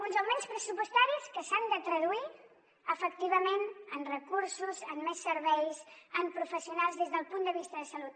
uns augments pressupostaris que s’han de traduir efectivament en recursos en més serveis en professionals des del punt de vista de salut